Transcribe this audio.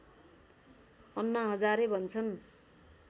अन्ना हजारे भन्छन्